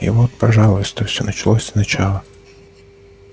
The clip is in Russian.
и вот пожалуйста все началось сначала